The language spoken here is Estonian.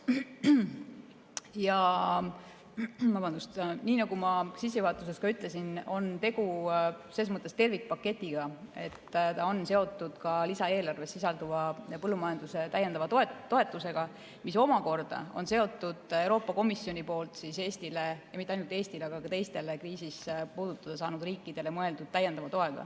Ja nii nagu ma sissejuhatuses ütlesin, on tegu selles mõttes tervikpaketiga, et ta on seotud ka lisaeelarves sisalduva põllumajanduse täiendava toetusega, mis omakorda on seotud Euroopa Komisjoni poolt Eestile – ja mitte ainult Eestile, aga ka teistele kriisis puudutada saanud riikidele – mõeldud täiendava toega.